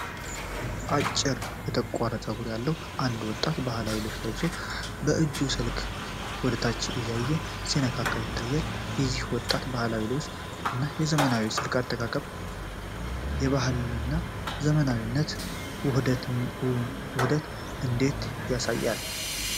አጭር የተቆረጠ ፀጉር ያለው አንድ ወጣት ባህላዊ ነጭ ልብስ ለብሶ፣ የእጁን ስልክ ወደታች እያየ ሲነካ ይታያል፤ የዚህ ወጣት ባህላዊ ልብስ እና የዘመናዊው ስልክ አጠቃቀም የባህልና የዘመናዊነት ውህደትን እንዴት ያሳያል?